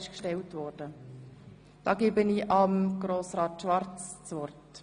Ich gebe Grossrat Schwarz das Wort.